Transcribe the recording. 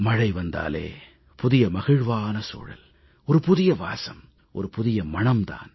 மழை வந்தாலே புதிய மகிழ்வான சூழல் புதிய வாசம் புதிய மணம் தான்